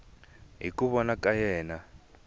hi ku vona ka yena